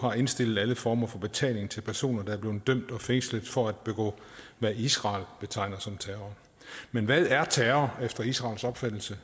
har indstillet alle former for betaling til personer der er blevet dømt og fængslet for at begå hvad israel betegner som terror men hvad er terror efter israels opfattelse